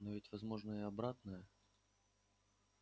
но ведь возможно и обратное